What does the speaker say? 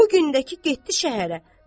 Bu gün də ki, getdi şəhərə.